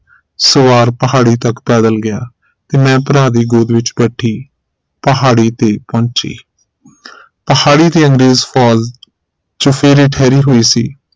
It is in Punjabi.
ਸਵਾਰ ਪਹਾੜੀ ਤਕ ਪੈਦਲ ਗਿਆ ਤੇ ਮੈਂ ਭਰਾ ਦੀ ਗੋਦ ਵਿਚ ਬੈਠੀ ਪਹਾੜੀ ਤੇ ਪਹੁੰਚੀ ਪਹਾੜੀ ਤੇ ਅੰਗਰੇਜ਼ ਫੋਜ ਚੁਫੇਰੇ ਠਹਿਰੀ ਹੋਈ ਸੀ